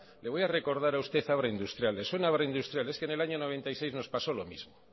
le voy a recordar a usted abra industrial le suena abra industrial es que en el año noventa y seis nos pasó lo mismo